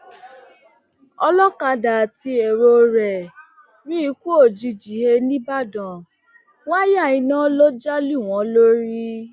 ọlọkadà àti èrò rẹ ríkú òjijì he nìbàdàn wáyà iná ló já lù wọn lórí